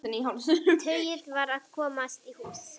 Tauið varð að komast í hús.